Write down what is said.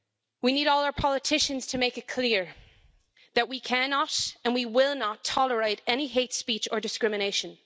We need all our politicians to make it clear that we cannot and we will not tolerate any hate speech or discrimination.